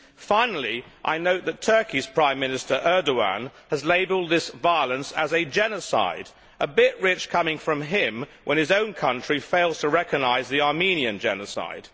Finally, I note that Turkey's Prime Minister Erdogan has labelled this violence as a genocide a bit rich coming from him when his own country fails to recognise the Armenian genocide.